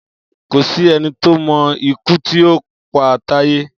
Kò sí eni tó mo ikú tí o pa Táyé